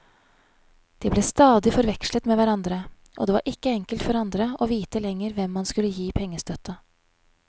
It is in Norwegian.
De ble stadig forvekslet med hverandre, og det var ikke enkelt for andre å vite lenger hvem man skulle gi pengestøtte.